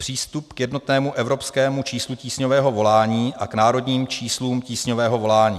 Přístup k jednotnému evropskému číslu tísňového volání a k národním číslům tísňového volání.